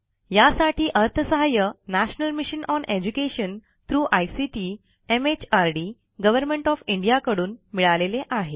यासाठी अर्थसहाय्य national mission on education through ICT MHRD government of India कडून मिळालेले आहे